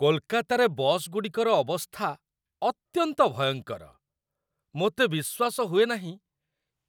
କୋଲକାତାରେ ବସ୍ଗୁଡ଼ିକର ଅବସ୍ଥା ଅତ୍ୟନ୍ତ ଭୟଙ୍କର! ମୋତେ ବିଶ୍ୱାସ ହୁଏ ନାହିଁ,